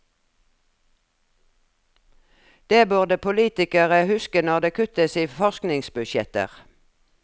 Det burde politikere huske når det kuttes i forskningsbudsjetter.